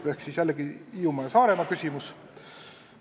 See on jälle see Hiiumaa ja Saaremaa küsimus.